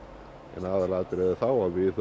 en aðalatriðið er þá að við